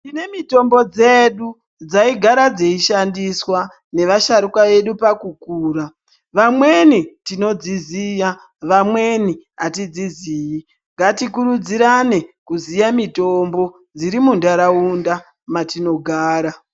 Tine mitombo dzedu dzaigara dzeishandiswa nevasharuka vedu pakukura vamweni vedu tinodziziya vamweni atidziziyi ngatikurudzirane kuziya mitombo dziri munthraunda matinogara.